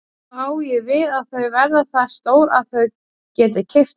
Þá á ég við að þau verða það stór að þau geti keypt alla?